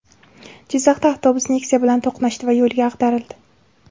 Jizzaxda avtobus Nexia bilan to‘qnashdi va yo‘lga ag‘darildi.